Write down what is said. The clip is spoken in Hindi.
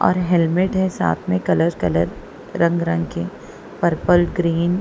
और हेलमेट है साथ में कलर-कलर रंग-रंग की पर्पल ग्रीन --